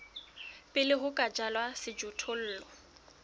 pele ho ka jalwa sejothollo